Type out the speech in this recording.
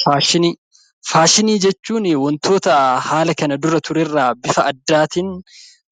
Faashinii Faashinii jechuun wantoota haala kana dura ture irraa bifa addaatiin